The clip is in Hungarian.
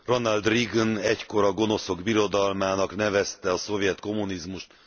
Ronald Reagan egykor a gonoszok birodalmának nevezte a szovjet kommunizmust.